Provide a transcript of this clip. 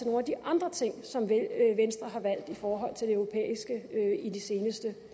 nogle af de andre ting som venstre har valgt i forhold til det europæiske i det seneste